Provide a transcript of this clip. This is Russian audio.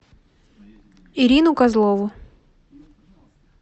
ирину козлову